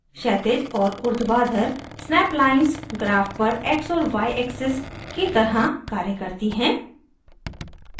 क्षैतिज और ऊर्ध्वाधर snap lines graph पर x और y axes की तरह कार्य करती हैं